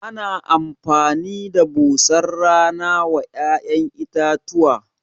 Ana amfani da busar rana wa ya'yan itatuwa?